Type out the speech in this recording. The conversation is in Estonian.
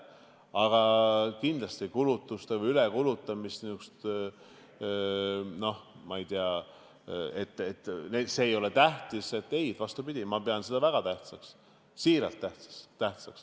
Aga see, nagu ülekulutamine ei oleks tähtis – vastupidi, ma pean seda väga tähtsaks, siiralt pean.